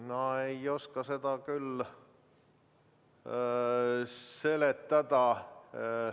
Ma ei oska seda küll seletada.